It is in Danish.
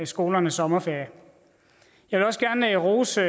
skolernes sommerferie jeg vil også gerne rose